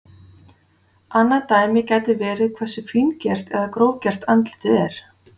Annað dæmi gæti verið hversu fíngert eða grófgert andlitið er.